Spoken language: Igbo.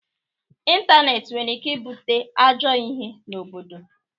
ịntanetị nwere ike ibute ajọ ihe n'obodo.